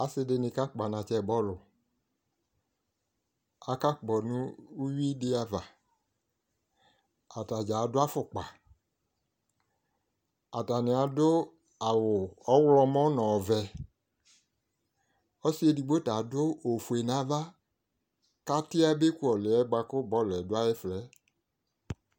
Asidini kakpɔ anatsɛ bɔlu akakpɔ nu uyui di ava atadza adu afokpa atani adu awu ɔɣlɔmɔ nu ɔvɛ ɔsi edigbo ta adu ofue nava kati yaba ku ɔliɛ bɔlu yɛ du ayɛfuɛ